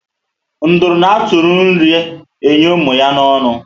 Nduru an atụri nri enye ụmụ ya na ọnụ